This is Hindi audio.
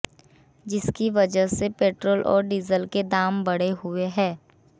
जिसकी वजह से पेट्रोल और डीजल के दाम बढ़े हुए हैं